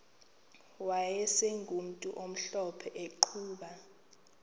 wayegumntu omhlophe eqhuba